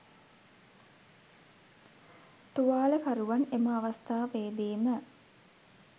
තුවාලකරුවන් එම අවස්ථාවේදීම